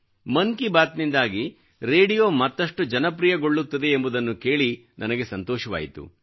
ಮನ್ ಕಿ ಬಾತ್ ನಿಂದಾಗಿ ರೇಡಿಯೋ ಮತ್ತಷ್ಟು ಜನಪ್ರಿಯಗೊಳ್ಳುತ್ತಿದೆ ಎಂಬುದನ್ನು ಕೇಳಿ ನನಗೆ ಸಂತೋಷವಾಯಿತು